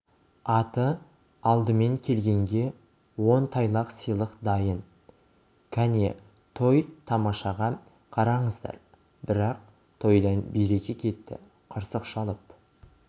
аты алдымен келгенге он тайлақ сыйлық дайын кәне той-тамашаға қараңыздар бірақ тойдан береке кетті қырсық шалып